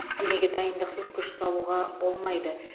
денеге дайындықсыз күш салуға болмайды